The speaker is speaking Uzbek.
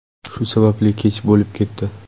Shu sababli kech bo‘lib ketdi.